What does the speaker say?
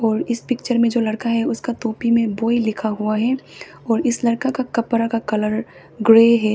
और इस पिक्चर में जो लड़का हैं उसका टोपी में बॉय लिखा हुआ है और इस लड़का का कपड़ा का कलर ग्रे है।